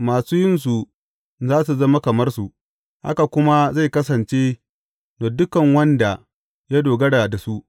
Masu yinsu za su zama kamar su, haka kuma zai kasance da duk wanda ya dogara da su.